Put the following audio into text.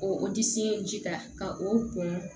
O disi ye ji ta ka o bon